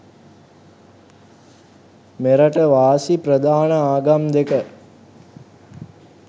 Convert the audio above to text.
මෙරට වාසි ප්‍රධාන ආගම් දෙක